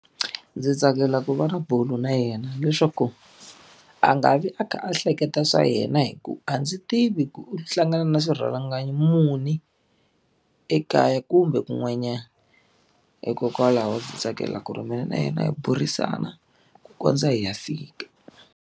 Ndzi tsakela ku va na bulo na yena leswaku a nga vi a kha a hleketa swa yena hikuva a ndzi tivi ku u hlangana na swirhalanganyi muni ekaya kumbe kun'wanyana hikokwalaho ndzi tsakela ku ri mina na yena hi burisana ku kondza hi ya fika.